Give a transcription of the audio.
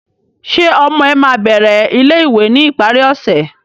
Ṣe ọmọ ẹ ma bẹrẹ ilé-ìwé ni ìparí ọsẹ?